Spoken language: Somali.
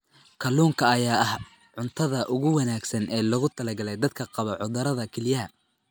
Kalluunka ayaa ah cuntada ugu wanaagsan ee loogu talagalay dadka qaba cudurrada kelyaha.